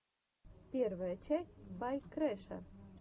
первая часть бай крэша